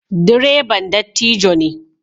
Direban dattijo ne.